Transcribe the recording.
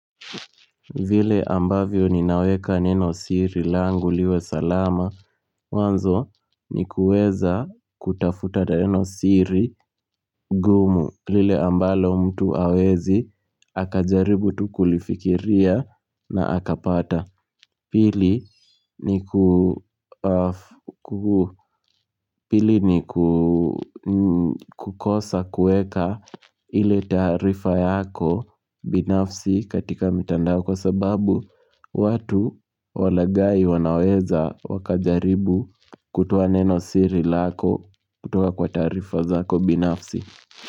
Vile ambavyo ninaweka neno siri langu liwe salama mwanzo ni kueza kutafuta neno siri gumu lile ambalo mtu hawezi Akajaribu tu kulifikiria na akapata Pili ni kukosa kueka ile taarifa yako binafsi katika mitandao kwa sababu watu walaghai wanaweza wakajaribu kutoa neno siri lako kutoa kwa taarifa zako binafsi.